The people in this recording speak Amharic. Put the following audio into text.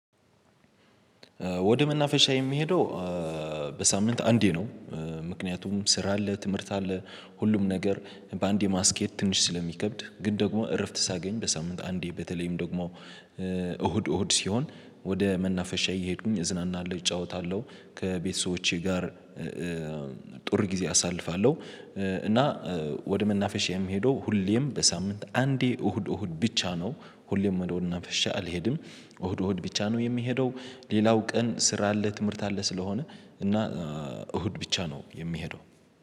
ወደ መናፈሻ የሚሄደው በሳምንት አንዴ ነው። ምክንያቱም ስራ አለ ትምህርት አለ ሁሉም ነገር በአንዴ ማስኬድ ትንሽ ስለሚከብድ ግን ደግሞ እረፍት ሳገኝ በሳምንት አንዴ በተለይም ደግሞ እሁድ እሁድ ሲሆን ወደ መናፈሻ እየሄድኩኝ እዝናናለሁ እጫወታለሁ ከቤተሰቦቼ ጋር ጥሩ ጊዜ አሳልፋለሁ። እና ወደ መናፈሻም ሄዶ ሁሌም በሳምንት አንዴ እሁድ እሁድ ብቻ ነው ሁሌም ወደ ወደ መናፈሻ አልሄድም እሁድ እሁድ ብቻ ነው የሚሄደው። ሌላው ቀን ስራ አለ ትምህርት አለ ስለሆነ እና እሁድ ብቻ ነው የሚሄደው።